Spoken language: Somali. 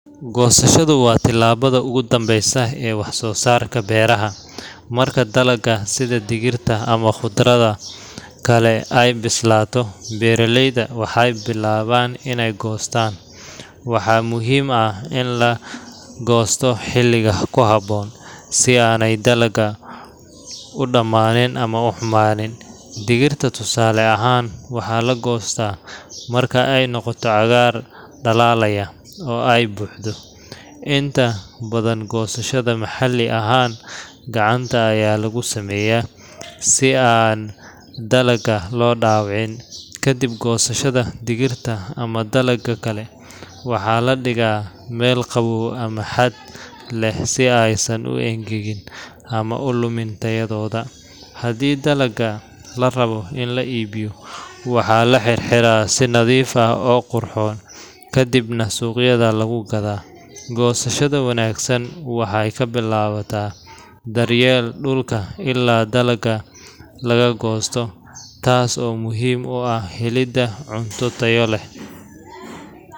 Goosashadu waa tallaabada ugu dambeysa ee wax-soosaarka beeraha. Marka dalagga sida digirta ama khudradda kale ay bislaato, beeraleyda waxay bilaabaan inay goostaan. Waxaa muhiim ah in la goosto xiliga ku habboon, si aanay dalaggu u dhammaan ama u xumaanin. Digirta tusaale ahaan, waxaa la goostaa marka ay noqoto cagaar dhalaalaya, oo ay buuxdo. Inta badan goosashada maxalli ahaan gacanta ayaa lagu sameeyaa, si aan dalagga loo dhaawicin. Kadib goosashada, digirta ama dalagga kale waxaa la dhigaa meel qabow ama hadh leh si aysan u engegin ama u lumin tayadooda. Haddii dalagga la rabo in la iibiyo, waxaa la xirxiraa si nadiif ah oo qurxoon, kadibna suuqyada lagu gadaa. Goosashada wanaagsan waxay ka bilaabataa daryeelka dhulka ilaa dalagga laga goosto, taas oo muhiim u ah helidda cunto tayo leh.